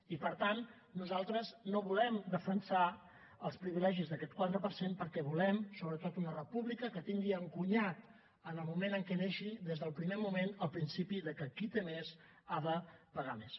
i per tant nosaltres no volem defensar els privilegis d’aquest quatre per cent perquè volem sobretot una república que tingui encunyat en el moment en què neixi des del primer moment el principi que qui en té més ha de pagar més